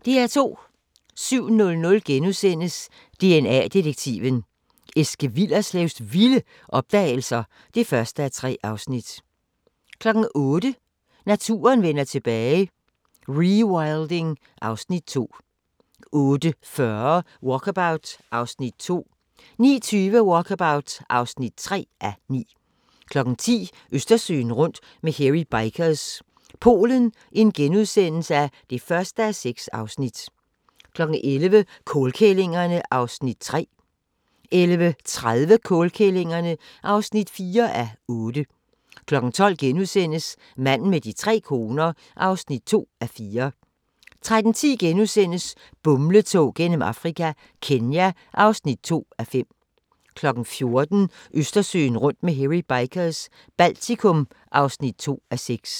07:00: DNA-detektiven – Eske Willerslevs vilde opdagelser (1:3)* 08:00: Naturen vender tilbage - rewilding (Afs. 2) 08:40: Walkabout (2:9) 09:20: Walkabout (3:9) 10:00: Østersøen rundt med Hairy Bikers – Polen (1:6)* 11:00: Kålkællingerne (3:8) 11:30: Kålkællingerne (4:8) 12:00: Manden med de tre koner (2:4)* 13:10: Bumletog gennem Afrika – Kenya (2:5)* 14:00: Østersøen rundt med Hairy Bikers – Baltikum (2:6)